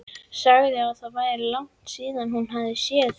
Sagði að það væri langt síðan hún hefði séð þig.